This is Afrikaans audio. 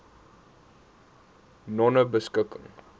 nonebeskikking